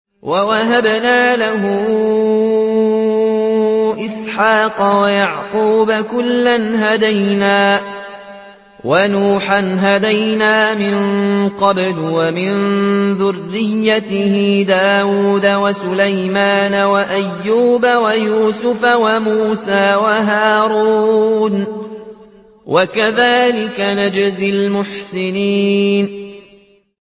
وَوَهَبْنَا لَهُ إِسْحَاقَ وَيَعْقُوبَ ۚ كُلًّا هَدَيْنَا ۚ وَنُوحًا هَدَيْنَا مِن قَبْلُ ۖ وَمِن ذُرِّيَّتِهِ دَاوُودَ وَسُلَيْمَانَ وَأَيُّوبَ وَيُوسُفَ وَمُوسَىٰ وَهَارُونَ ۚ وَكَذَٰلِكَ نَجْزِي الْمُحْسِنِينَ